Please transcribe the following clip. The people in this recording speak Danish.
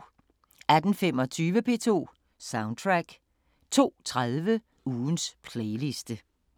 18:25: P2 Soundtrack 02:30: Ugens playliste